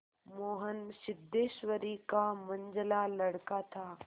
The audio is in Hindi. मोहन सिद्धेश्वरी का मंझला लड़का था